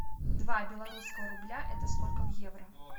два белорусского рубля это сколько в евро